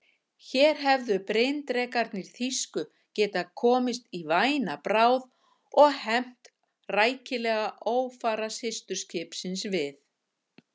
Hér hefðu bryndrekarnir þýsku getað komist í væna bráð og hefnt rækilega ófara systurskipsins við